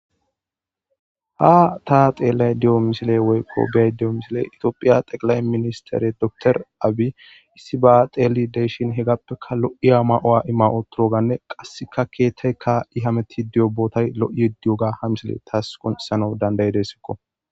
ha taa xeellay diyo misile woykko beay di7o misile itoophiya xeqilay ministere doktor aabi isiba xeli deeshin hegappeka lo7iya ma7o7a ima7otoroganne qasseka keettey ka7i hameti diyo bootay lo7iye di7oga ha misile taas konsano dandayi dessikko